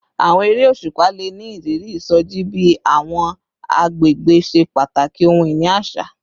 Awọn ere oṣupa le ni iriri isoji bi awọn agbegbe ṣe pataki ohun-ini aṣa